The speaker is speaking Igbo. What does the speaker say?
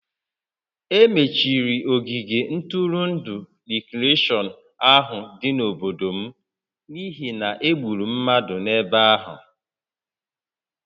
E mechiri ogige ntụrụndụ rikreshọn ahụ dị n'obodo m n'ihi na e gburu mmadụ n'ebe ahụ